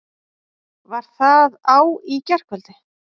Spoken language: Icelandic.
Var það á í gærkvöldi?